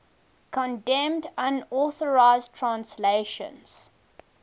condemned unauthorized translations